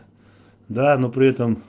да ну при это